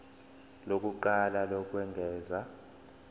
lokuqala lokwengeza p